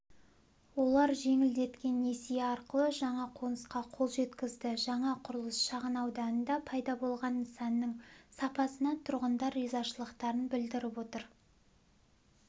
олар жеңілдетілген несие арқылы жаңа қонысқа қол жеткізді жаңа құрылыс шағын ауданында пайда болған нысанның сапасына тұрғындар ризашылықтарын білдіріп отыр